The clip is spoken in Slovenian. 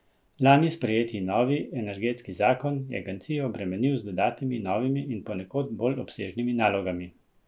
Lani sprejeti novi energetski zakon je agencijo obremenil z dodatnimi novimi in ponekod bolj obsežnimi nalogami.